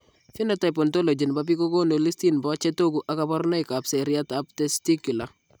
Phenotype ontology nebo biik kokonu listini bo chetogu ak kaborunoik ab seriat ab testicular